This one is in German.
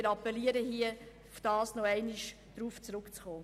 Wir appellieren hier, noch einmal darauf zurück zu kommen.